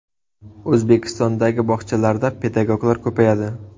O‘zbekistondagi bog‘chalarda pedagoglar ko‘payadi.